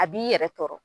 A b'i yɛrɛ tɔɔrɔ